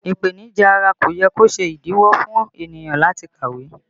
Ipenija ara kò yẹ kó ṣe ìdíwọ́ fún ènìyàn láti kàwé